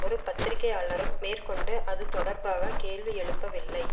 ஒரு பத்திரிகையாளரும் மேற்கொண்டு அது தொடர்பாக கேள்வியெழுப்பவில்லை